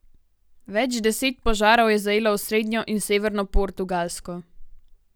Več deset požarov je zajelo osrednjo in severno Portugalsko.